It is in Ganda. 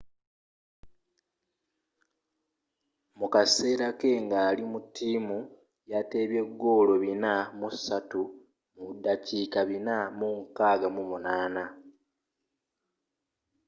mukaseera ke ngali mu ttiimu yatebye goolo 403 mu ndabika 468